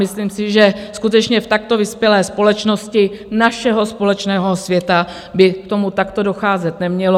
Myslím si, že skutečně v takto vyspělé společnosti našeho společného světa by k tomu takto docházet nemělo.